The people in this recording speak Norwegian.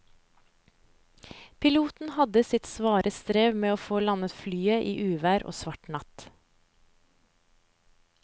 Piloten hadde sitt svare strev med å få landet flyet i uvær og svart natt.